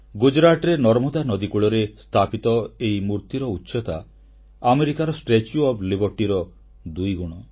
ଗୁଜରାଟର ନର୍ମଦା ନଦୀକୂଳରେ ସ୍ଥାପିତ ଏହି ମୂର୍ତ୍ତିର ଉଚ୍ଚତା ଆମେରିକାର ଷ୍ଟାଚ୍ୟୁ ଓଏଫ୍ Libertyର ଦୁଇଗୁଣ